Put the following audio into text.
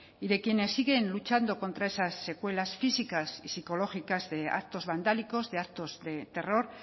y de quienes siguen luchando contra esas secuelas físicas y psicológicas de actos vandálicos de actos de terror